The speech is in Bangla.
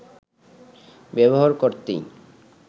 ব্যবহার করতেই